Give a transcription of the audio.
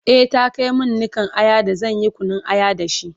e ta Kai min Nikan Aya da zanyi Kunun aya da shi?